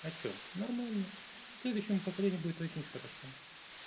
а что нормально следующему поколению будет очень хорошо